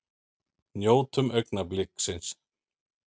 Njótum augnabliksins!